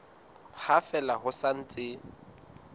ha fela ho sa ntse